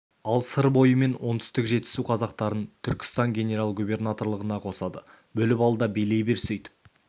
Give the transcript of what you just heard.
ал сыр бойы мен оңтүстік жетісу қазақтарын түркістан генерал-губернаторлығына қосады бөліп ал да билей бер сөйтіп